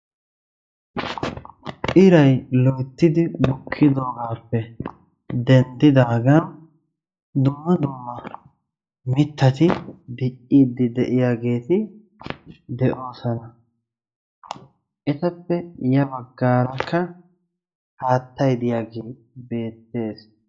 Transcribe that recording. Iray loyttidi bukkidoogaappe denddidaagan dumma dumma mittati dicciidi de'iyageti de'oosona. Etappekka ya bagaara haattay diyagee beetees.